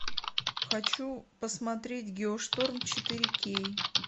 хочу посмотреть геошторм четыре кей